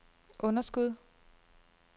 underskud